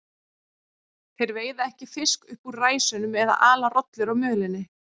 Þeir veiða ekki fisk upp úr ræsunum eða ala rollur á mölinni.